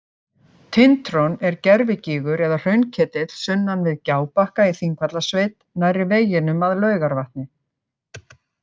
Tintron er gervigígur eða hraunketill sunnan við Gjábakka í Þingvallasveit nærri veginum að Laugarvatni.